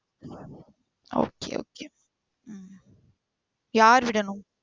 bye Ammu okay okay உம் யார்விடனும்?